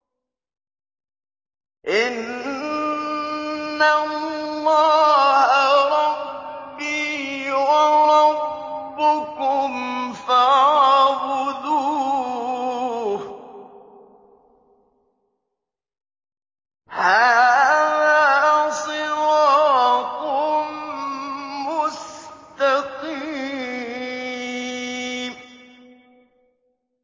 إِنَّ اللَّهَ رَبِّي وَرَبُّكُمْ فَاعْبُدُوهُ ۗ هَٰذَا صِرَاطٌ مُّسْتَقِيمٌ